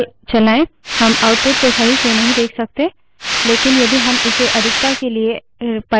हम output को सही से नहीं देख सकते लेकिन यदि हम इसे अधिकता के लिए pipe से जोडें हम कर सकते हैं